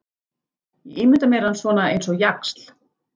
Ég ímynda mér hann svona eins og jaxl.